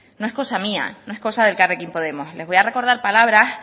no es cosa mía no es cosa de elkarrekin podemos les voy a recordar palabras